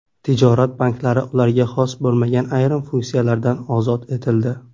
Tijorat banklari ularga xos bo‘lmagan ayrim funksiyalardan ozod etildi.